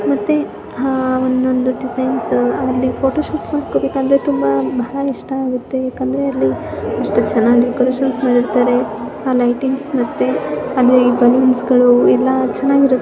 ಮತ್ತೆ ಒನ್ನೊಂದು ಡೆಸೈನ್ಸು ಆಮೇಲೆ ಫೋಟೋ ಶೂಟ್ ಮಾಡಿಸ್ಕೊಬೇಕು ಅಂದ್ರೆ ತುಂಬಾ ಬಹಳ ಇಷ್ಟಾಗುತ್ತೆ ಯಾಕಂದ್ರೆ ಅಲ್ಲಿ ಇಷ್ಟು ಚೆನ್ನಾಗಿ ಡೆಕೋರೇಷನ್ಸ್ ಮಾಡಿರ್ತಾರೆ ಆ ಲೈಟಿಂಗ್ಸ್ ಮತ್ತೆ ಅದ್ರಲ್ಲಿ ಬಲೂನ್ಸ್ ಗಳು ಎಲ್ಲಾ ಚೆನ್ನಾಗಿರುತ್ತೆ.